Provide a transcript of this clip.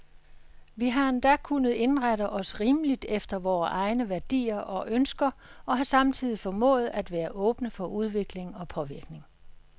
Vi har endda kunnet indrette os rimeligt efter vore egne værdier og ønsker, og har samtidig formået at være åbne for udvikling og påvirkning.